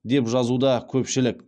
деп жазуда көпшілік